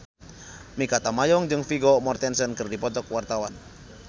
Mikha Tambayong jeung Vigo Mortensen keur dipoto ku wartawan